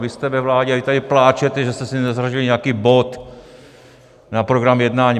Vy jste ve vládě a vy tady pláčete, že jste si nezařadili nějaký bod na program jednání.